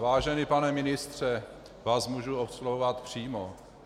Vážený pane ministře, vás můžu oslovovat přímo.